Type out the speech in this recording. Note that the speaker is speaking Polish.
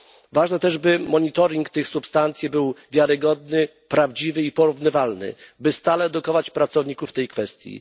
Ważne, by monitoring tych substancji był wiarygodny, prawdziwy i porównywalny, by stale edukować pracowników w tej kwestii.